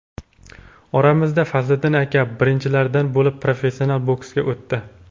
Oramizda Fazliddin aka birinchilardan bo‘lib professional boksga o‘tdi.